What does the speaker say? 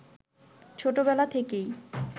ছোটবেলা থেকেই